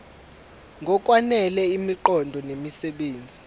ngokwanele imiqondo nemisebenzi